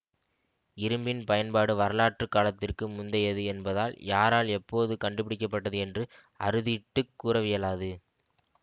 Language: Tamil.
இரும்பின் பயன்பாடு வரலாற்று காலத்திற்கு முந்தையது என்பதால் யாரால் எப்போது கண்டுபிடிக்க பட்டது என்று அறுதிட்டுக் கூறவியலாது